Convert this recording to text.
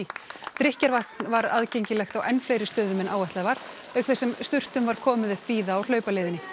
drykkjarvatn var aðgengilegt á enn fleiri stöðum en áætlað var auk þess sem sturtum var komið upp víða á hlaupaleiðinni